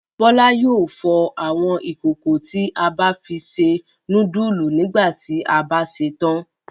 Bọ́lá yóò fọ àwọn ìkòkò tí a bá fi se núdúlù nígbà tí a bá ṣetán.